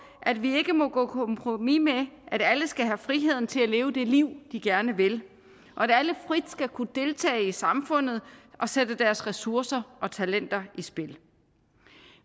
at vi ikke må gå på kompromis med at alle skal have frihed til at leve det liv de gerne vil og at alle frit skal kunne deltage i samfundet og sætte deres ressourcer og talenter i spil